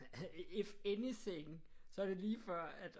If anything så er det lige før at